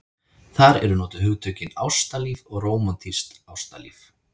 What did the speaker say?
Þar eru notuð hugtökin ástalíf og rómantískt ástalíf.